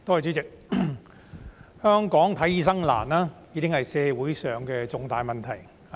代理主席，香港難以求醫，已經是社會上的重大問題。